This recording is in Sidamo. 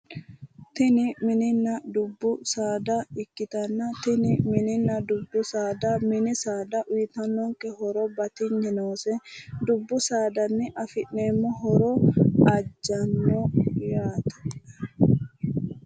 Tini mininna dubbu saada, mini saada uuyitanno horo batinye noose, dubbu saadanni afi'neemmo horo ajjanno yaate.